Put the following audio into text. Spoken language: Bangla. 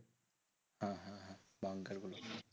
Banker গুলোতে